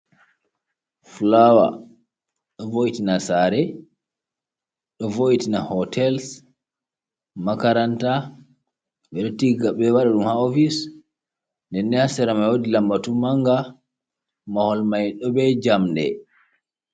Flowar ɗo voitina sare, ɗo vo’itina hotels, macaranta ɓe ɗo tiga ɓe wada ɗum ha ofise, denne haserama wodi lambatu manga mahol mai do be jamɗe.